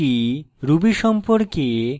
ruby সম্পর্কে